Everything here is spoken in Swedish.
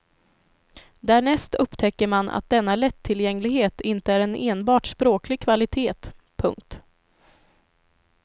Därnäst upptäcker man att denna lättillgänglighet inte är en enbart språklig kvalitet. punkt